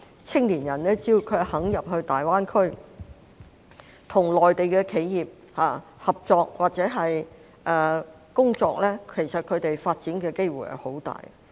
青年人只要願意進入大灣區，跟內地的企業合作或在那裏工作，其實他們的發展機會相當大。